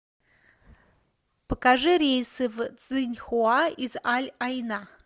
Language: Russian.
покажи рейсы в цзиньхуа из аль айна